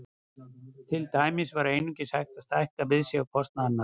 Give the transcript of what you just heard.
Til dæmis var einungis hægt að stækka við sig á kostnað annarra.